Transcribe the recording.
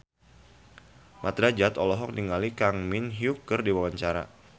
Mat Drajat olohok ningali Kang Min Hyuk keur diwawancara